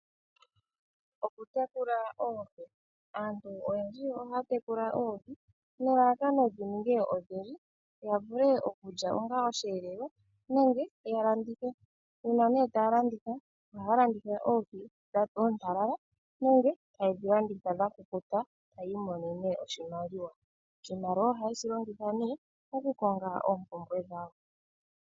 Okutekula oohi, aantu oyendji ohaya tekula oohi nelalakano dhi ninge odhindji ya vule okulya onga osheelelwa nenge ya landithe. Uuna nee taya landitha, ohaya landitha oohi oontalala nenge taye dhi landitha dha kukuta taya imonene oshimaliwa. Oshimaliwa ohaye shi longitha nee okukonga oompumbwe dhawo.